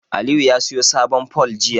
Aliyu ya siyo sabon fol jiya.